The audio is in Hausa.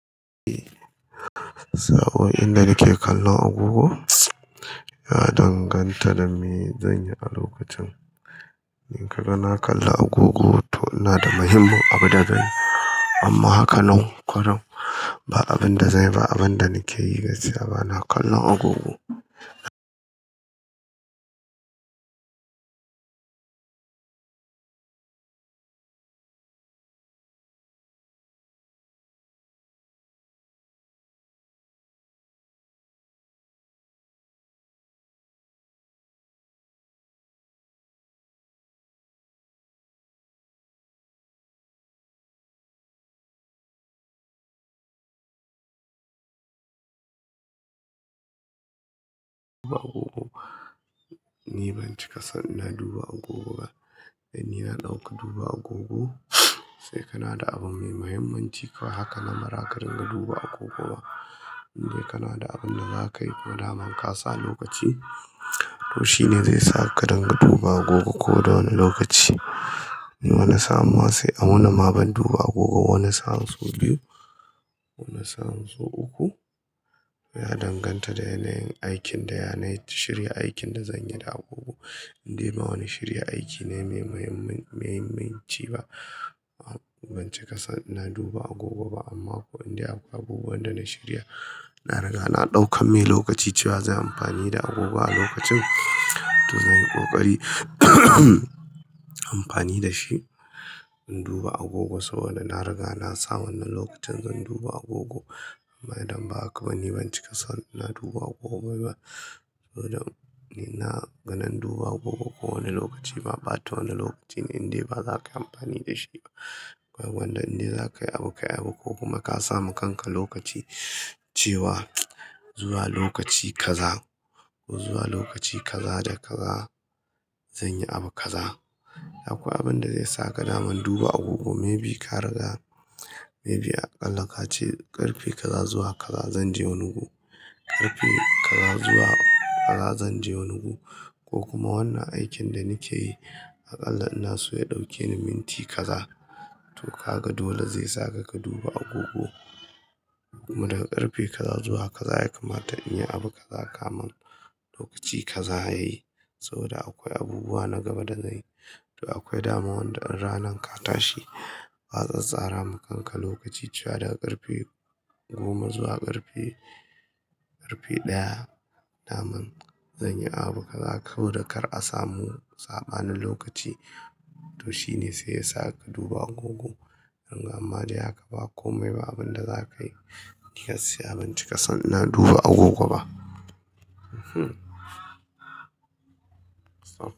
Eh, sabon inda nake kallon agogo ya danganta da me zanyi a lokacin. In ka ga na kalla agogo to ina da muhimmin abu da zan yi amma haka nan kwarai ba abin da zanyi ba, abin da nake yi gaskiya bana kallon agogo. Duba agogo, ni ban cika son na duba agogo ba. Dan ni na ɗauki duba agogo, sai kana da abun mai mahimmanci haka namara ka dinga duba agogo. Inde kana da abun da zakayi ko daman ka sa lokaci to shine zai sa ka ka dinga duba agogo ko da wane lokaci. Ni wani saa, an sai a wuni ma ban duba agogo ba wani sa'an so biyu, wani sa'an so uku. Ya danganta da yanayin aikin da yana yi, shirya aikin da zanyi da agogo. Indai ba wani shirya aiki ne mai mahimmanci ba, ban cika son ina duba agogo ba amma ko indai akwai abubuwan da na shirya, na riga na ɗauka mai lokaci cewa zan yi amfani da agogo a lokacin to zan yi ƙoƙari amfani da shi in duba agogo saboda na riga na san nan lokacin zan duba agogo. Ma idan ba haka ba, ni ban cika son na duba agogo ba saboda ina ganin duba agogo kowane lokaci ba, bata wani lokaci ne indai baza kayi amfani da shi ba. Ai gwanda indai zaka yi abu, ka yi abu ko kuma ka samu kanka lokaci cewa zuwa lokaci kaza ko zuwa lokaci kaza da kaza zan yi abu kaza. Akwai abin da zai saka naman duba agogo, maybe ka riga maybe aƙalla ka ce ƙarfe kaza zuwa kaza zan je wani wuri. Ƙarfe kaza zuwa kaza zan je wani wuri ko kuma wannan aikin da nake yi aƙalla ina so ya ɗauke ni minti kaza. To ka ga dole zai saka ka duba agogo kuma daga ƙarfe kaza zuwa kaza ya kamata in yi abu kaza, kama lokaci kaza ya yi saboda akwai abubuwa na gaba da zan yi. To akwai dama wanda in ranan ka tashi, ka tsattsara wa kanka lokaci cewa daga ƙarfe goma zuwa ƙarfe, ƙarfe ɗaya daman zan yi abu kaza saboda kar a samu sabanin lokaci to shine sai ya saka duba agogo. Riga amma dai haka ba komai ba abin da zakayi. Gaskiya ban cika son na duba agogo ba.